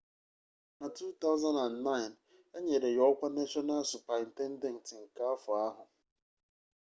na 2009 enyere ya okwa national superintendent nke afo ahụ